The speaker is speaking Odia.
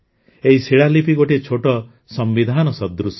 ଏହି ଶିଳାଲିପି ଗୋଟିଏ ଛୋଟ ସମ୍ବିଧାନ ସଦୃଶ